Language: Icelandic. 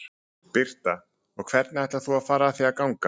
Birta: Og hvernig ætlar þú að fara að því að ganga?